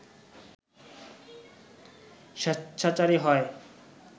স্বেচ্ছাচারী হয়